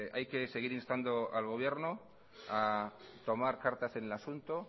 hay que seguir instando al gobierno a tomar cartas en el asunto